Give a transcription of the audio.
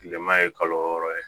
Kilema ye kalo wɔɔrɔ ye